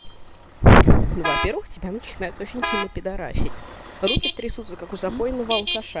во первых тебя начинает очень сильно пидорасит руки трясутся как у запойного алкаш